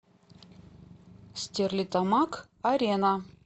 стерлитамак арена